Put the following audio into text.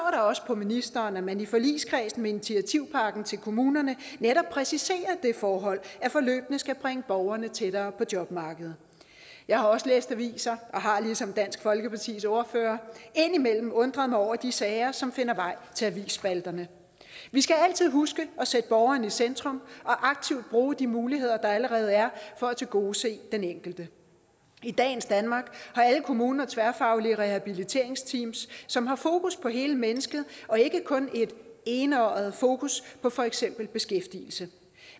også på ministeren at man i forligskredsen med initiativpakken til kommunerne netop præciserer det forhold at forløbene skal bringe borgerne tættere på jobmarkedet jeg har også læst aviser og har ligesom dansk folkepartis ordfører indimellem undret mig over de sager som finder vej til avisspalterne vi skal altid huske at sætte borgeren i centrum og aktivt bruge de muligheder der allerede er for at tilgodese den enkelte i dagens danmark har alle kommuner tværfaglige rehabiliteringsteams som har fokus på hele mennesket og ikke kun et enøjet fokus på for eksempel beskæftigelse